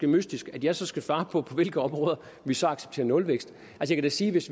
mystisk at jeg så skal svare på på hvilke områder vi så accepterer nulvækst jeg kan da sige hvis